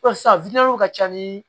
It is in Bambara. sisan ka ca ni